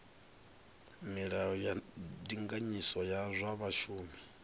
milayo ya ndinganyiso ya zwa vhashumi